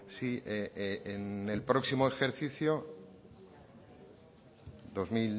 si en el próximo ejercicio